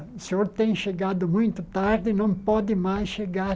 O senhor tem chegado muito tarde, não pode mais chegar